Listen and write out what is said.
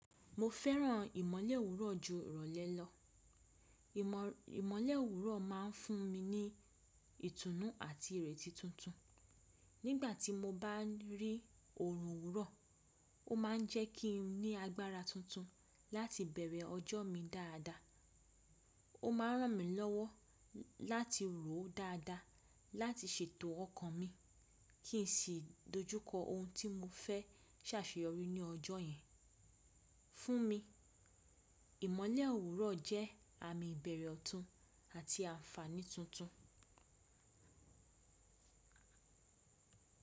Mo fẹ́ràn ìmọ̀lẹ òwúrọ̀ ju ìrọ̀lẹ́ lọ. Ìmọ̀lẹ̀ òwúrọ̀ máa ń fún mi ní ìtùnú àti ìrètí tuntun. Nígbà tí mo bá rí òrùn òwúrọ̀, ó máa ń jẹ́ kí n ní agbára tuntun láti bẹ̀rẹ̀ ọjọ́ mi dáadáa. Ó máa ń ràn mí lọ́wọ́ láti rò ó dáadáa láti ṣètò ọkàn mi kí n sì dojú kọ ohun tí mo fẹ́ ṣàṣeyọrí ní ọjọ́ yẹn. Fún mi, ìmọ̀le òwúrọ̀ jẹ́ àmì ìbẹ̀rẹ̀ ọ̀tún àti àǹfààní tuntun.